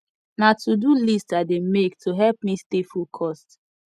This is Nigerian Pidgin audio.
na todo list i dey make to help me stay focused